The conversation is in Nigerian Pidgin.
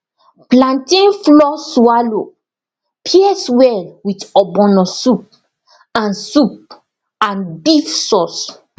plantain flour swallow pairs well with ogbono soup and soup and beef sauce